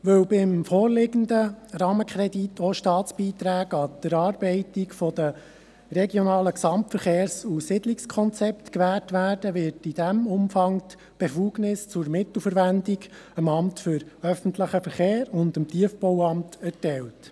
Weil beim vorliegenden Rahmenkredit auch Staatsbeiträge an die Erarbeitung der Regionalen Gesamtverkehrs- und Siedlungskonzepte (RGSK) gewährt werden, wird in diesem Umfang die Befugnis zur Mittelverwendung dem Amt für öffentlichen Verkehr (AÖV) und dem Tiefbauamt (TBA) erteilt.